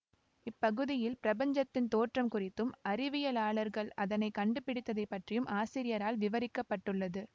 இப்பகுதியில் பிரபஞ்சத்தின் தோற்றம் குறித்தும் அறிவியலாளர்கள் அதனை கண்டுபிடித்ததைப் பற்றியும் ஆசிரியரால் விவரிக்க பட்டுள்ளது